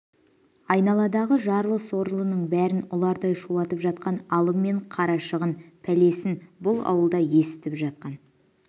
айналадағы жарлы-сорлының бәрін ұлардай шулатып жатқан алым мен қарашығын пәлесін бұл ауыл да есітіп жатқан